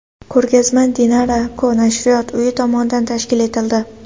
Ko‘rgazma Dinara&Co nashriyot uyi tomonidan tashkil etildi.